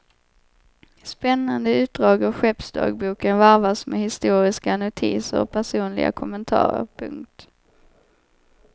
Spännande utdrag ur skeppsdagboken varvas med historiska notiser och personliga kommentarer. punkt